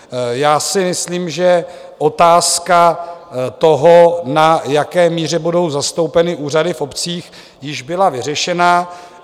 Já si myslím, že otázka toho, na jaké míře budou zastoupeny úřady v obcích, již byla vyřešena.